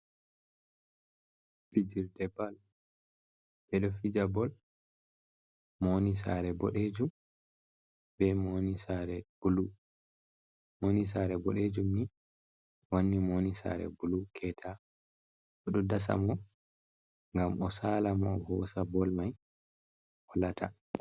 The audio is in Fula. Fijirde bol. Ɓe ɗo fija bol. Mo woni saare boɗejum, be mo woni saare blu. Mo woni saare boɗejum ni wanni mo woni saare bulu keta. O ɗo dasa mo ngam o saala mo, o hosa bol mai, o lata.